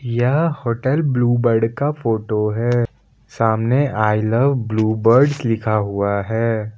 यह hotel blue bird का photo है सामने आई लव ब्लू बर्ड लिखा हुआ है।